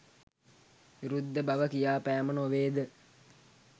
විරුද්ධ බව කියා පෑම නොවේද?